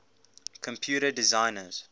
computer designers